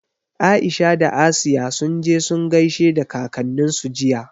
Aisha da Asiya sun je sun gaishe da kakanninsu jiya.